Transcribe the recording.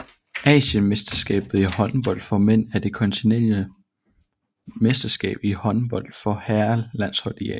Asienmesterskabet i håndbold for mænd er det kontinentale mesterskab i håndbold for herrelandshold i Asien